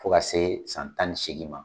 Fo ka se san tan ni seegin ma.